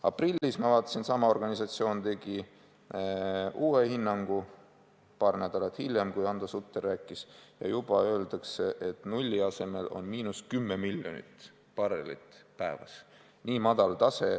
Aprillis, ma vaatasin, tegi sama organisatsioon uue hinnangu – paar nädalat hiljem, kui Hando Sutter rääkis – ja juba öeldakse, et nulli asemel on miinus 10 miljonit barrelit päevas.